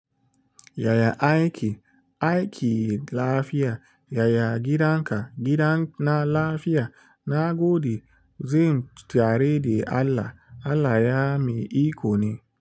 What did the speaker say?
Yaya aiyiki? Ayiki lafiya. Yaya gidanka? Gidan na lafiya. Na gode. Zen tare da Allah. Allah ya mi iko ne.